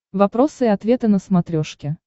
вопросы и ответы на смотрешке